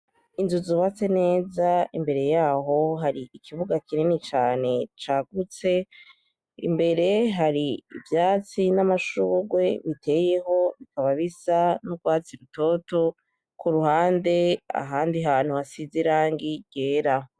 Inzu zubatse neza imbere yaho hari ikibuga kinini cane cagutse, imbere hari ivyatsi n’amashugwe biteyeho bikaba bisa n’urwatsi rutoto, kuruhande ahandi hantu hasize irangi ryera.